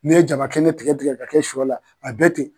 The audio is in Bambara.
N'i ye jaba kɛnɛ tigɛ tigɛ k'a kɛ sɔ la a bɛ ten.